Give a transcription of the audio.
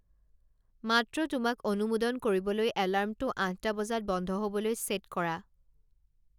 মাত্ৰ তোমাক অনুমোদন কৰিবলৈ এলাৰ্মটো আঠটা বজাত বন্ধ হ'বলৈ ছেট কৰা